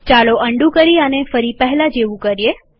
ચાલો અન્ડૂ કરી આને ફરી પહેલા જેવું કરીએ